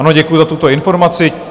Ano, děkuji za tuto informaci.